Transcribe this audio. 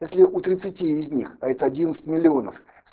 если у тридцати из них а это одиннадцать миллионов